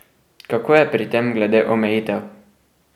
Kako je pri tem glede omejitev?